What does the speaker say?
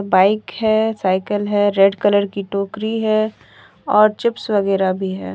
Bike है cycle है red colour की टोकरी है और चिप्स वगैरा भी है।